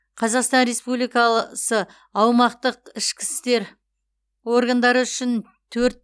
қазақстан ресмпубликалысы аумақтық ішкі істер органдары үшін төрт